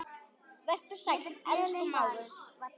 Vertu sæll, elsku mágur.